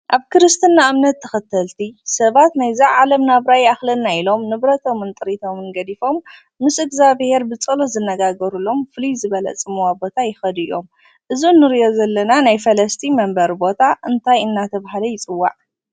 ኣብ ክርስትና እምነት ተኸተልቲ ሰባት ናይዛ ዓለም ናብራ ይኣክለና እዩ ኢሎም ንብሮቶሞን ጥርቶምን ገዲፎሞ ምስ እግዚኣብሄር ብፀሎት ዝነጋገርሎም ፍልይ ዝበለ ፅምዋ ቦታ ይኸዱ እዮም። እዚ እንሪኦ ዘለና ናይ ፈለስቲ መንበሪ ቦታ እንታይ እናተብሃለ ይፅዋዕ?